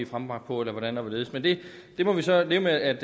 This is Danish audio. frembragt på eller hvordan og hvorledes men det må vi så leve med at